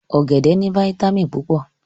Ọ̀gẹ̀dẹ̀ ní fáyítámìnì púpọ̀